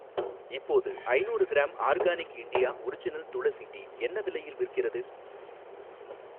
இப்போது ஐணூறு gram organic India original tulsi tea என்ன விலையில் விற்கிறது?